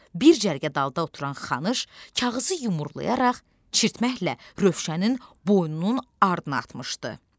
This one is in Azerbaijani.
Bir cərgə dalda oturan Xanısh kağızı yumrulayaraq çirtməklə Rövşənin boynunun ardına atmışdı.